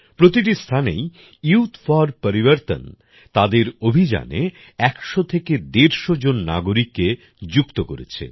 প্রতিটি স্থানেই youth for Parivartan তাদের অভিযানে ১০০ থেকে ১৫০ জন নাগরিককে যুক্ত করেছে